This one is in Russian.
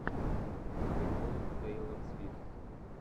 прикол тейлор свифт